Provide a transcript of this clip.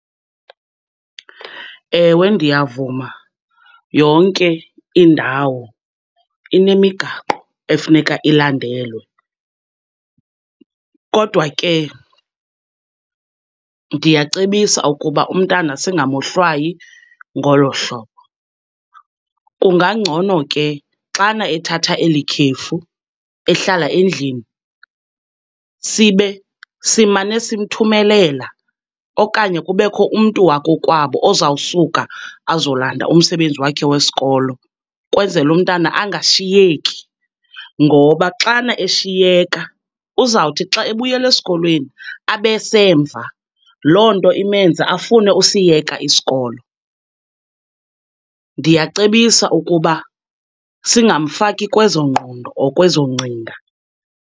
Ewe ndiyavuma, yonke indawo inemigaqo efuneka ilandelwe, kodwa ke ndiyacebisa ukuba umntana singamohlwayi ngolo hlobo. Kungangcono ke xana ethatha eli khefu, ehlala endlini sibe simane simthumelela okanye kubekho umntu wakokwabo ozawusuka azolanda umsebenzi wakhe wesikolo, ukwenzela umntana angashiyeki. Ngoba xana eshiyeka, uzawuthi xa ebuyela esikolweni abesemva, loo nto imenze afune usiyeka isikolo. Ndiyacebisa ukuba singamfaki kwezo ngqondo or kwezo ngcinga.